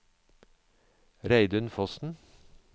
Reidun Fossen